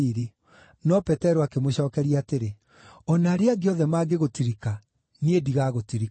No Petero akĩmũcookeria atĩrĩ, “O na arĩa angĩ othe mangĩgũtirika, niĩ ndigagũtirika.”